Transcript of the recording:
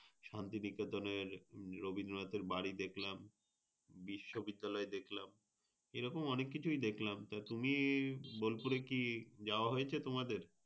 শান্তিনিকেতনের রবীন্দ্রনাথের বাড়ি দেখলাম। বিশ্ববিদ্যালয় দেখলাম, এই রকম অনেক কিছুই দেখলাম। তা তুমি বোলপুরে কি যাওয়া হয়েছে তোমাদের?